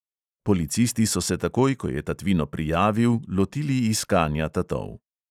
Policisti so se takoj, ko je tatvino prijavil, lotili iskanja tatov.